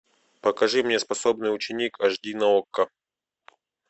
покажи мне способный ученик аш ди на окко